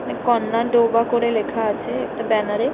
কন্যা ডোবা করে লেখা আছে একটা ব্যানার -এ।